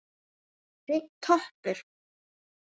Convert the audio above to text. Hreinn toppur.